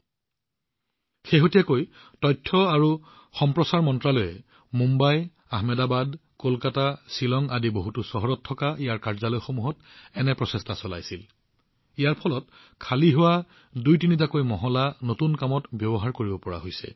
অতীতত আনকি তথ্য আৰু সম্প্ৰচাৰ মন্ত্ৰালয়েও মুম্বাই আহমেদাবাদ কলকাতা শ্বিলঙত বহুতো চহৰত থকা ইয়াৰ কাৰ্যালয়সমূহত যথেষ্ট প্ৰচেষ্টা কৰিছিল আৰু তাৰ বাবে আজি তেওঁলোকৰ নতুন কামৰ ব্যৱহাৰৰ বাবে দুটা তিনিটা মহলা সম্পূৰ্ণৰূপে উপলব্ধ হৈছে